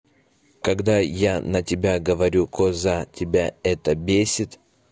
когда я на тебя говорю коза тебя это бесит